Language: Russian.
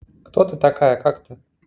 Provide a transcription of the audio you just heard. кто ты такая как ты